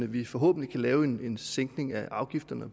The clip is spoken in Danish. vi forhåbentlig kan lave en en sænkning af afgifterne og